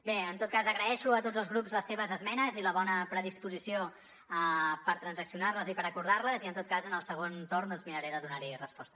bé en tot cas agraeixo a tots els grups les seves esmenes i la bona predisposició per transaccionar les i per acordar les i en tot cas en el segon torn miraré de donar hi resposta